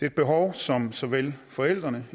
et behov som såvel forældre